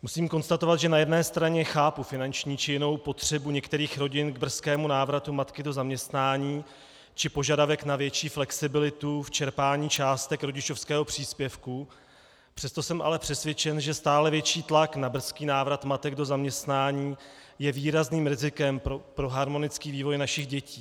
Musím konstatovat, že na jedné straně chápu finanční či jinou potřebu některých rodin k brzkému návratu matky do zaměstnání či požadavek na větší flexibilitu v čerpání částek rodičovského příspěvku, přesto jsem ale přesvědčen, že stále větší tlak na brzký návrat matek do zaměstnání je výrazným rizikem pro harmonický vývoj našich dětí.